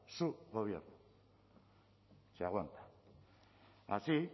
su gobierno se aguanta así